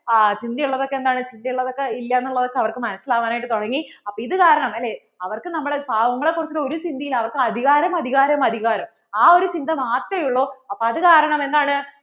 ആ ചിന്ത ഉള്ളത് ഒക്കെ എന്താണ് ചിന്ത ഉള്ളത് ഒക്കെ ഇല്ല്യാന്നുള്ളതൊക്കെ അവർക്കു മനസ്സിലാവാനായിട്ടു തുടങ്ങി അപ്പോൾ ഇത് കാരണം അല്ലേ അവർക്ക് നമ്മൾ പാവങ്ങളെ കുറിച്ചിട്ട് ഒരു ചിന്തയും ഇല്ല അവർക്കു അധികാരം അധികാരം അധികാരം ആ ഒരു ചിന്ത മാത്ര ഉള്ളു